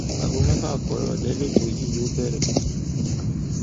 aago mẹfà ààbọ ìrọlẹ lẹtọ yìí yóò bẹrẹ